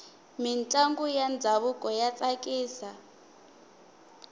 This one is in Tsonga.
mintlangu ya ndhavuko ya tsakisa